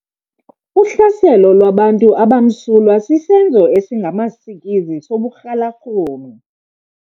Uhlaselo lwabantu abamsulwa sisenzo esingamasikizi soburhalarhume .